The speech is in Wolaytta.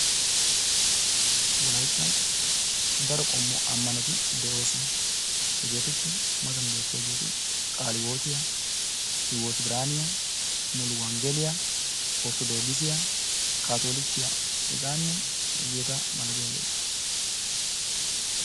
Wolayttan daro qommo ammanoti de'oosona. Hegeetuppe matan beettiyageeti Qaali hiwootiya, Hiwoti Biraaniya ,Muluwonggeliya, Orttodokisiya, Kaatoolikiya hegaanne hegaa malatiyageeta.